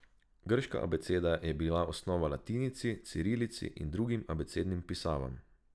Grška abeceda je bila osnova latinici, cirilici in drugim abecednim pisavam.